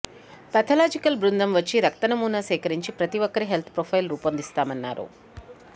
pathological బృందం వచ్చి రక్త నమూనా సేకరించి ప్రతీ ఒక్కరి హెల్త్ ప్రొఫైల్ రూపొందిస్తామన్నారు